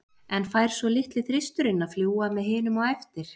En fær svo litli þristurinn að fljúga með hinum á eftir?